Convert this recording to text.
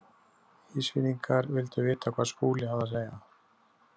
Ísfirðingar vildu vita hvað Skúli hafði að segja.